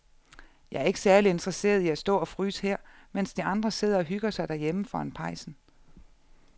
Jeg er ikke særlig interesseret i at stå og fryse her, mens de andre sidder og hygger sig derhjemme foran pejsen.